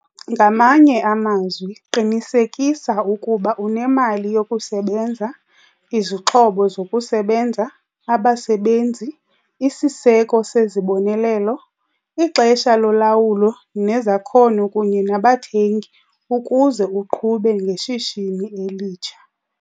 Ngamanye amazwi, qinisekisa ukuba unemali yokusebenza, izixhobo zokusebenza, abasebenzi, isiseko sezibonelelo, ixesha lolawulo nezakhono kunye nabathengi ukuze uqhube ngeshishini elitsha.